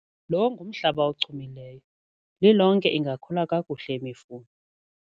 Lo ngumhlaba ochumileyo, lilonke ingakhula kakuhle imifuno.